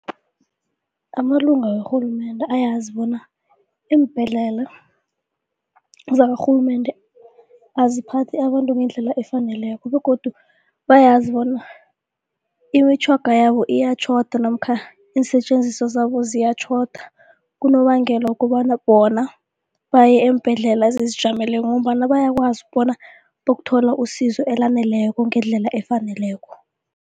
Amalunga wakarhulumende ayazi bona iimbhedlela zakarhulumende aziphathe abantu ngendlela efaneleko begodu bayazi bona imitjhoga yabo iyatjhoda namkha iinsetjenziswa zabo ziyatjhoda kunobangela wokobana bona baye eembhedlela ezizijameleko ngombana bayakwazi bona bokuthola usizo elaneleko ngendlela efaneleko.